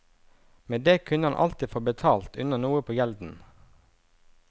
Med det kunne han alltid få betalt unna noe på gjelden.